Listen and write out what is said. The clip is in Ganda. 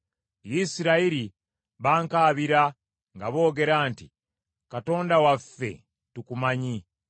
Isirayiri bankaabira nga boogera nti, ‘Katonda waffe, tukumanyi.’